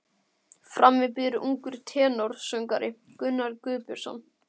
Frammi bíður ungur tenórsöngvari, Gunnar Guðbjörnsson.